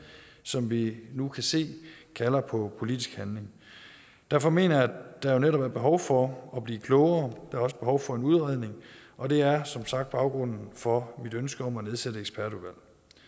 som vi nu kan se kalder på politisk handling derfor mener jeg der netop er behov for at blive klogere er også behov for en udredning og det er som sagt baggrunden for mit ønske om at nedsætte et ekspertudvalg